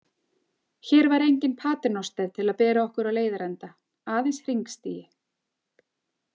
Hér var enginn paternoster til að bera okkur á leiðarenda, aðeins hringstigi.